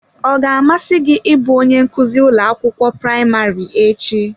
Ọ ga-amasị gị ịbụ onye nkuzi ụlọ akwụkwọ praịmarị echi?